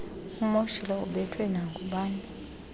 umoshile ubethwe nangubani